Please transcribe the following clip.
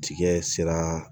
Cikɛ sera